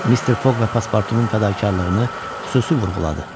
Mister Foq və pasportunun fədakarlığını xüsusi vurğuladı.